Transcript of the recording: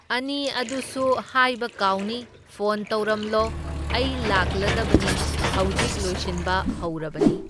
ꯑꯅꯤ ꯑꯗꯨꯁꯨ ꯍꯥꯏꯕ ꯀꯥꯎꯅꯤ, ꯐꯣꯟ ꯇꯧꯔꯝꯂꯣ, ꯑꯩ ꯂꯥꯛꯂꯗꯕꯅꯤ, ꯍꯧꯖꯤꯛ ꯂꯣꯏꯁꯤꯟꯕ ꯍꯧꯔꯕꯅꯤ꯫